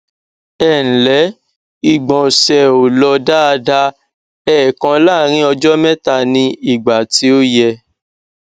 ẹǹlẹ ìgbọnsẹ ò lọ daada èèkan láàárín ọjọ mẹta ní ìgbà tí ò yẹ